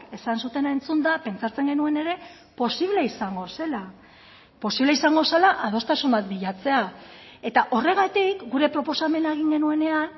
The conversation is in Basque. esan zutena entzunda pentsatzen genuen ere posible izango zela posible izango zela adostasun bat bilatzea eta horregatik gure proposamena egin genuenean